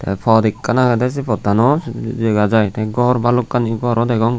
tey pot ekkan agedey sey potano dega jai tey gor balokkani garow degong.